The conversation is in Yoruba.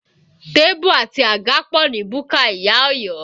Tébù àti àga pọ̀ ní búkà ìyá Ọ̀yọ́